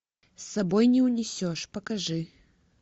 с собой не унесешь покажи